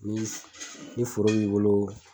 Ni s ni foro b'i boloo